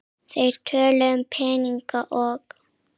Þeir töluðu um peninga og